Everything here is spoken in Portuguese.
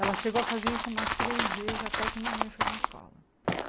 Ela chegou a fazer isso umas três vezes, até que minha mãe foi na escola.